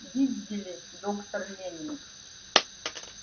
видели доктор лэннинг